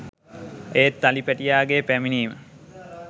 ඒත් අලි පැටියාගේ පැමිණීම